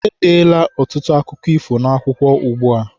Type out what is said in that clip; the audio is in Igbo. E deela ọtụtụ akụkọ ifo n'akwụkwọ ugbua.